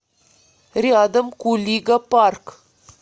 рядом кулига парк